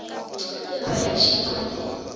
ya ba ya šitwa le